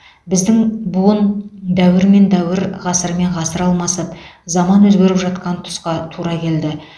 біздің буын дәуір мен дәуір ғасыр мен ғасыр алмасып заман өзгеріп жатқан тұсқа тура келді